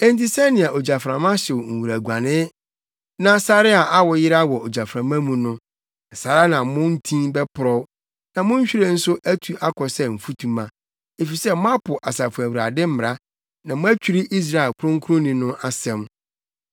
Enti sɛnea ogyaframa hyew nwuraguanee na sare a awo yera wɔ ogyaframa mu no, saa ara na mo ntin bɛporɔw, na mo nhwiren nso atu akɔ sɛ mfutuma; efisɛ moapo Asafo Awurade mmara na moatwiri Israel Kronkronni no asɛm.